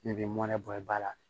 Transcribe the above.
Ne b'i mɔnɛ bɔ i ba la